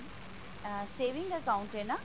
ah saving account ਹੈ ਨਾ